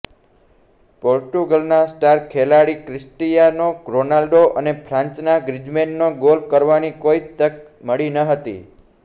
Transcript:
પોર્ટુગલના star ખેલાડી Cristiano Ronaldo અને ફ્રાંસના ગ્રીઝમેનને ગોલ કરવાની કોઇ તક મળી ન હતી